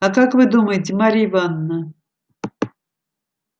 а как вы думаете марья ивановна